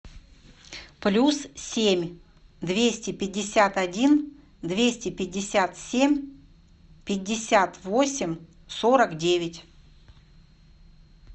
плюс семь двести пятьдесят один двести пятьдесят семь пятьдесят восемь сорок девять